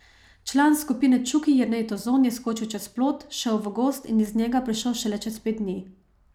Član skupine Čuki Jernej Tozon je skočil čez plot, šel v gozd in iz njega prišel šele čez pet dni.